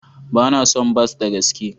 Ba na son bas da gaske.